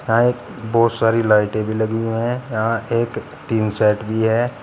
यहां एक बहुत सारी लाइटें भी लगी हुई है यहां एक टीन शेड भी है।